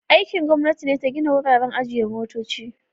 Aikin gwamnati ne ta gina wuraren ajiye motoci.